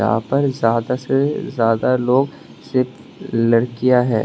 यहां पर ज्यादा से ज्यादा लोग सिर्फ लड़कियां है।